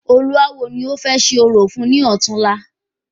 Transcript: Olúawo ni o fẹ ṣe orò fún ni ọ̀túnla